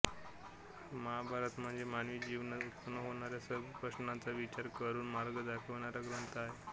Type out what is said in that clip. महाभारत म्हणजे मानवी जीवनात उत्पन्न होणाऱ्या सर्व प्रश्नांचा विचार करून मार्ग दाखवणारा ग्रंथ आहे